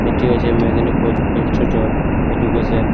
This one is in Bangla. এটি হচ্ছে মেদিনীপুর ইনস্টিটিউট অফ এডুকেশন ।